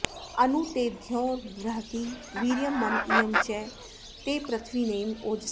अनु ते द्यौर्बृहती वीर्यं मम इयं च ते पृथिवी नेम ओजसे